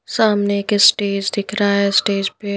सामने एक स्टेज दिख रहा है स्टेज पे --